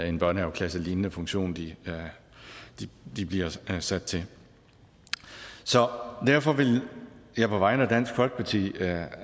en børnehaveklasselignende funktion de bliver sat til så derfor vil jeg på vegne af dansk folkeparti